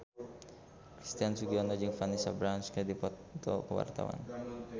Christian Sugiono jeung Vanessa Branch keur dipoto ku wartawan